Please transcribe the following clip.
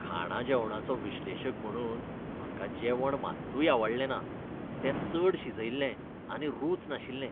खाणा जेवणाचो विश्लेशक म्हणून म्हाका जेवण मात्तूय आवडलें ना. तें चड शिजयल्लें आनी रूच नाशिल्लें.